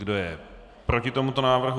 Kdo je proti tomuto návrhu?